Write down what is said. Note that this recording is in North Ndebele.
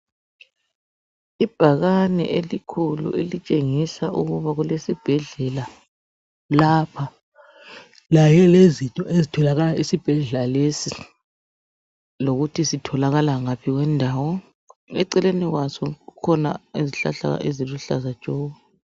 Ibhakane elikhulu elitshengisa ukuba kulesibhedlela lapha kanye lezinto ezitholakala esibhedlela lesi lokuthi sitholakala ngaphi kwendawo. Eceleni kwaso kukhona izihlahla eziluhlaza tshoko.